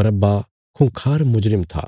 बरअब्बा खुंखार मुजरिम था